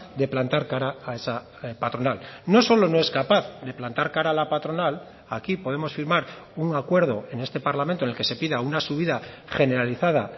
de plantar cara a esa patronal no solo no es capaz de plantar cara a la patronal aquí podemos firmar un acuerdo en este parlamento en el que se pida una subida generalizada